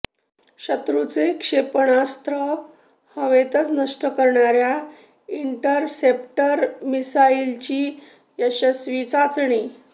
शत्रूचे क्षेपणास्त्र हवेतच नष्ट करणाऱ्या इंटरसेप्टर मिसाईलची यशस्वी चाचणी